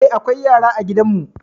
Eh, akwai yara a gidan mu.